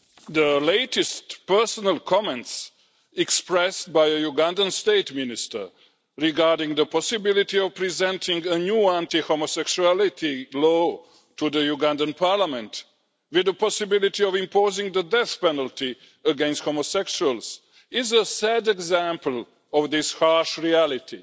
The latest personal comments expressed by a Ugandan State Minister regarding the possibility of presenting a new anti homosexuality law to the Ugandan Parliament, with the possibility of imposing the death penalty against homosexuals, is a sad example of this harsh reality.